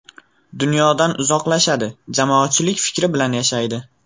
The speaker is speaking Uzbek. Dunyodan uzoqlashadi, jamoatchilik fikri bilan yashaydi.